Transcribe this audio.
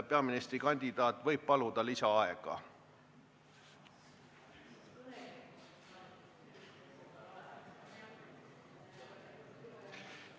Peaministrikandidaat võib paluda lisaaega.